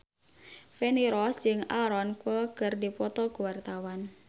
Feni Rose jeung Aaron Kwok keur dipoto ku wartawan